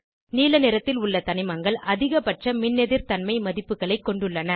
நீல நிறத்தில் உள்ள தனிமங்கள் அதிகபட்ச மின்னெதிர்தன்மை மதிப்புகளை கொண்டுள்ளன